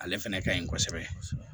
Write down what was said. Ale fɛnɛ ka ɲi kosɛbɛ